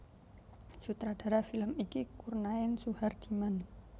Sutradara film iki Kurnaen Suhardiman